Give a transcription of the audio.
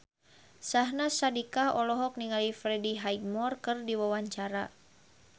Syahnaz Sadiqah olohok ningali Freddie Highmore keur diwawancara